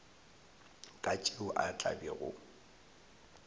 ka tšeo a tla bego